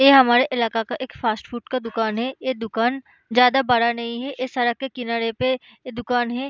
ए हमारे इलाका का एक फ़ास्ट फ़ूड का दुकान है। ये दुकान ज्यादा बड़ा नहीं है। ए सरक के किनारे पे ए दुकान है।